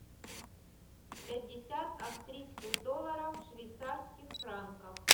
пятьдесят австрийских долларов в швейцарских франках